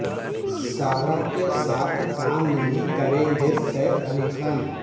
سارہ کے ساتھ کام نہیں کریں گے سیف علی خان